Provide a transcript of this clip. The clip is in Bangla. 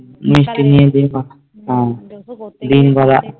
মিষ্টি নিয়ে আর দই দিন করা